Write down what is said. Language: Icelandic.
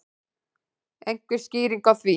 Einhver skýring á því?